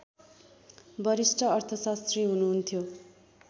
वरिष्ठ अर्थशास्त्री हुनुहुन्थ्यो